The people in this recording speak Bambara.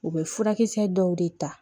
U bɛ furakisɛ dɔw de ta